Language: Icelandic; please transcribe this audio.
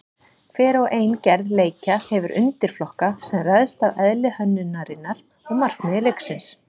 Hver og ein gerð leikja hefur undirflokka sem ræðst af eðli hönnunarinnar og markmiði leiksins.